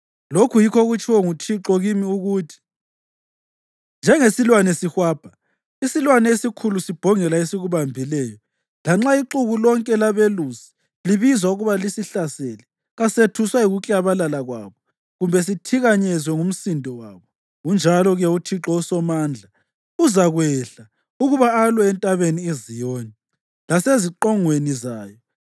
Lokhu yikho okutshiwo nguThixo kimi, ukuthi: “Njengesilwane sihwabha; isilwane esikhulu sibhongela esikubambileyo, lanxa ixuku lonke labelusi libizwa ukuba lisihlasele, kasethuswa yikuklabalala kwabo kumbe sithikanyezwe ngumsindo wabo, unjalo-ke uThixo uSomandla uzakwehla ukuba alwe entabeni iZiyoni laseziqongweni zayo.